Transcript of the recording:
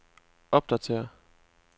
opdatér